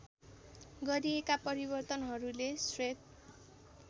गरिएका परिवर्तनहरूले श्वेत